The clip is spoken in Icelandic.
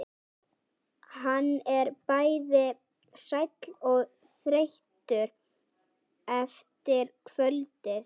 Hann er bæði sæll og þreyttur eftir kvöldið.